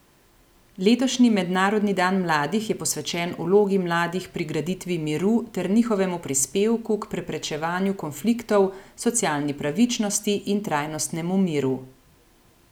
Letošnji mednarodni dan mladih je posvečen vlogi mladih pri graditvi miru ter njihovemu prispevku k preprečevanju konfliktov, socialni pravičnosti in trajnostnemu miru.